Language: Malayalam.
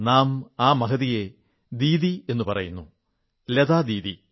നാം ആ മഹതിയെ ദീദി എന്നു പറയുന്നു ലതാ ദീദി